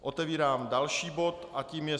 Otevírám další bod a tím je